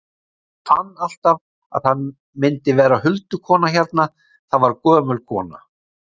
En ég fann alltaf að það myndi vera huldukona hérna, það var gömul kona.